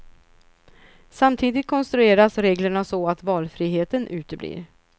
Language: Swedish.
Samtidigt konstrueras reglerna så att valfriheten uteblir.